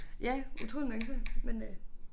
Ja utroligt nok så men øh